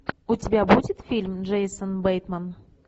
у тебя будет фильм джейсон бейтман